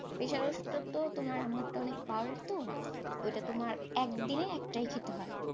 pressure এর ওষুধটা আম্মুর তো অনেক power এর তো, ওইটা তোমার এক দিনে একটাই খেতে হয়,